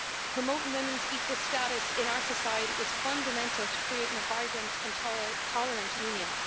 Promoting women's equal status in our society is fundamental to creating a vibrant and tolerant union.